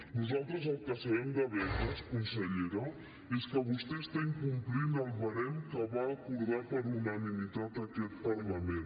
nosaltres el que sabem de beques consellera és que vostè està incomplint el barem que va acordar per unanimitat aquest parlament